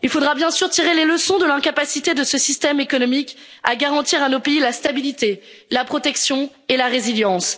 au chaos. Il faudra bien sûr tirer les leçons de l'incapacité de ce système économique à garantir à nos pays la stabilité, la protection et la résilience.